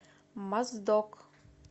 моздок